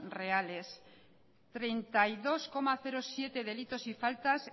reales treinta y dos coma siete delitos y faltas